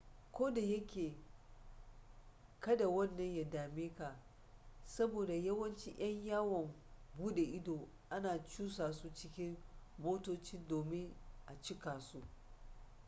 koda yake kada wannan ya dame ka saboda yawanci yan yawon bude ido ana cusa su cikin motoci domin a cikasu